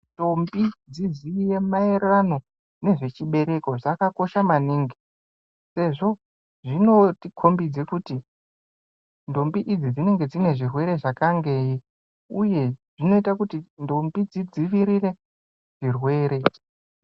Ndombi dziziye maererano nezvechibereko zvakakosha maningi sezvo zvinotikombidze kuti ndombi idzi dzinenge dzinezvirwere zvakangeyi. Uye zvinoita kuti ndombi dzidzivirire zvirwere